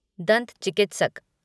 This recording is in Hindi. दंत चिकित्सक